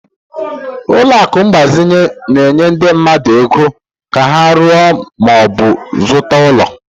Ụlọ akụ mgbazinye na-enye ndị mmadụ ego ka ha ruo ma ọ bụ zụta ụlọ.